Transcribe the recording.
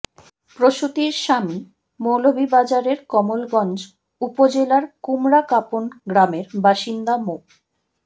প্রসূতির স্বামী মৌলভীবাজারের কমলগঞ্জ উপজেলার কুমড়াকাপন গ্রামের বাসিন্দা মো